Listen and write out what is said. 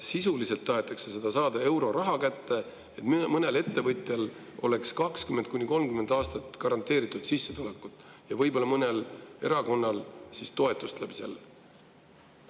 Sisuliselt tahetakse euroraha kätte saada, et mõnel ettevõtjal oleks 20–30 aastat garanteeritud sissetulekut ja võib-olla mõnel erakonnal ka toetust tänu sellele.